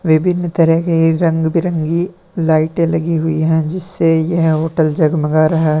विभिन्न तरह की रंग बिरंगी लाइटें लगी हुई हैं जिससे यह होटल जगमगा रहा है।